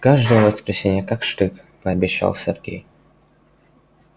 каждое воскресенье как штык пообещал сергей